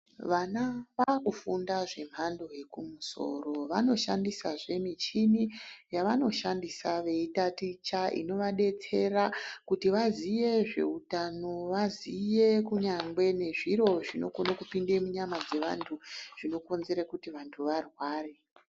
Vana vakufunda zvemhando yekumusoro vanoshandisazve michini yavanoshandisa veitaticha inovadetsera kuti vaziye zveutano, vaziye kunyangwe nezviro zvinokone kupinde munyama dzevantu zvinokonzera kuti vantu varware.